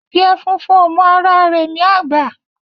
Adiè fúnfún ó mò àrá rè ni ágbà